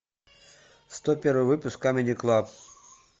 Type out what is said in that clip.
сто первый выпуск камеди клаб